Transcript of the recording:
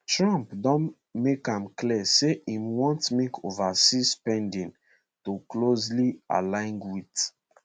trump don make am clear say e want make overseas spending to closely align wit